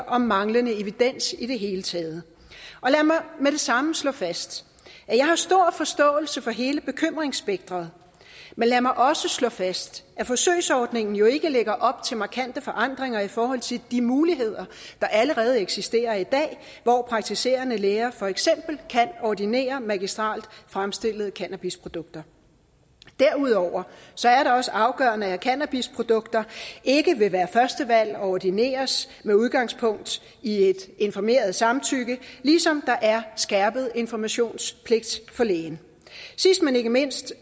og manglende evidens i det hele taget lad mig med det samme slå fast at jeg har stor forståelse for hele bekymringsspekteret men lad mig også slå fast at forsøgsordningen jo ikke lægger op til markante forandringer i forhold til de muligheder der allerede eksisterer i dag hvor praktiserende læger for eksempel kan ordinere magistrelt fremstillede cannabisprodukter derudover er det også afgørende at cannabisprodukter ikke vil være det første valg og ordineres med udgangspunkt i et informeret samtykke ligesom der er skærpet informationspligt for lægen sidst men ikke mindst